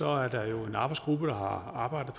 er der en arbejdsgruppe der har arbejdet